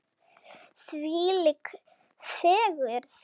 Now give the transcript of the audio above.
Þvílík fegurð.